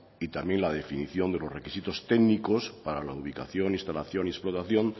y también la definición de los requisitos técnicos para la ubicación instalación y explotación